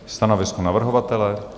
Stanovisko navrhovatele?